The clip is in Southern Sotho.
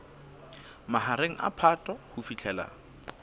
mahareng a phato ho fihlela